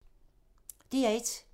DR1